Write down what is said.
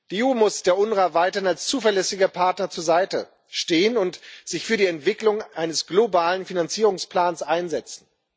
Die EU muss der UNRWA weiterhin als zuverlässiger Partner zur Seite stehen und sich für die Entwicklung eines globalen Finanzierungsplans einsetzen.